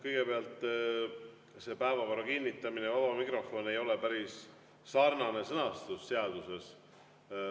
Kõigepealt, päevakorra kinnitamine ja vaba mikrofon ei ole päris sarnaselt sõnastatud seaduses.